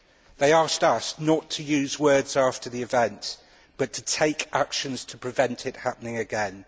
They asked us not to use words after the events, but to take action to prevent this happening again.